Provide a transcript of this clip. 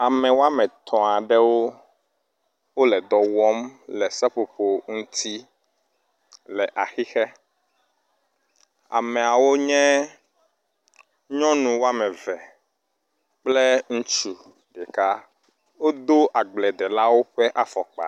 Ame wɔme etɔ̃ aɖewo wo le dɔ wɔm le seƒoƒo ŋuti le axixe. Ameawo nye nyɔnu wɔme eve kple ŋutsu ɖeka wodo agbedelawo ƒe afɔkpa.